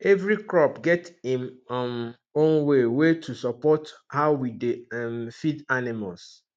every crop get im um own way way to support how we dey um feed animals